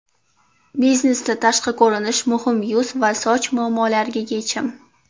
Biznesda tashqi ko‘rinish muhim yuz va soch muammolariga yechim!.